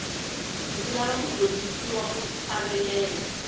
ndzi lava ku dyondzisiwa ku hlavelela